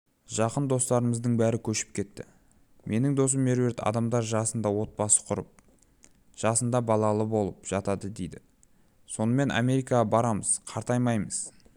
жақын достарымыздың бәрі көшіп кетті менің досым меруерт адамдар жасында отбасын құрып жасында балалы болып жатады дейді сонымен америкаға барамыз қартаймаймыз